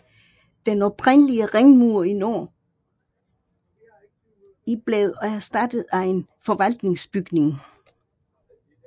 Den oprindelige ringmur i nord i blev erstattet af en forvaltningsbygning